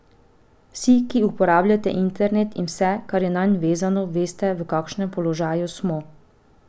Vsi, ki uporabljate internet in vse, kar je nanj vezano, veste, v kakšnem položaju smo.